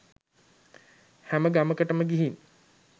හැම ගමකටම ගිහින්